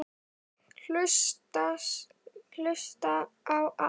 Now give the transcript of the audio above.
Hlusta á allt!!